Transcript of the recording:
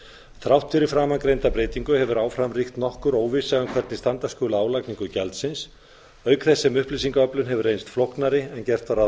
þrátt fyrir framangreinda breytingu hefur áfram ríkt nokkur óvissa um hvernig standa skuli að álagningu gjaldsins auk þess sem upplýsingaöflun hefur reynst flóknari en gert var ráð